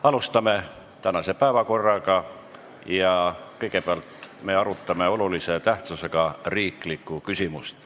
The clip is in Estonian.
Alustame tänase päevakorra punktide arutelu ja kõigepealt arutame olulise tähtsusega riiklikku küsimust.